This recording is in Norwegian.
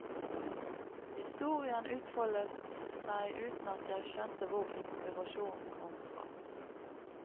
Historien utfoldet seg uten at jeg skjønte hvor inspirasjonen kom fra.